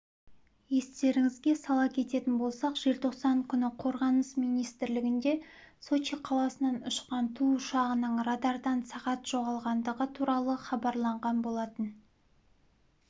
естеріңізге сала кететін болсақ желтоқсан күні қорғаныс министрлігінде сочи қаласынан ұшқан ту ұшағының радардан сағат жоғалғандығы туралы хабарланған болатын